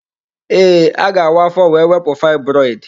Ee, a ga-awa afọ wee wepụ fibroid.